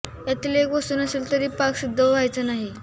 यांतील एक वस्तू नसेल तरी पाक सिद्ध व्हायचा नाही